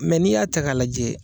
Mɛ n'i y'a ta ka lajɛ,